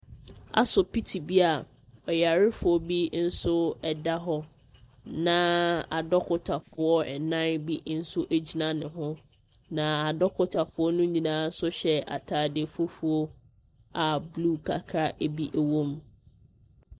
Asopiti be a ɔyarefoɔ bi nso da hɔ na adɔkotafo nnan bi nso gyina ne ho adɔkotafo ne nyinaa nso hyɛ ntaade fufuo a blue kakra bi wɔm.